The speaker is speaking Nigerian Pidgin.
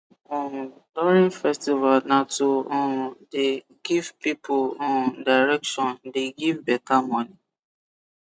um during festival na to um the give pipul um direction de give beta moni